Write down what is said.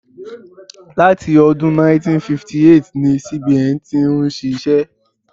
Láti ọdún 1958 ni CBN ti ń ṣiṣẹ́.